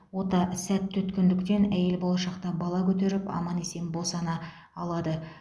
ота сәтті өткендіктен әйел болашақта бала көтеріп аман есен босана алады